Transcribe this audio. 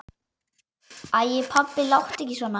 Æ pabbi, láttu ekki svona.